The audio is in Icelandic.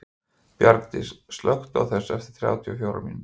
Bjargdís, slökktu á þessu eftir þrjátíu og fjórar mínútur.